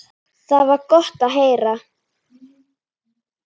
Það var gott að heyra.